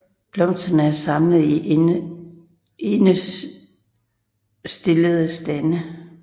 Blomsterne er samlet i endestillede stande